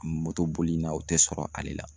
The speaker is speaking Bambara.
Moto boli in na o tɛ sɔrɔ ale la.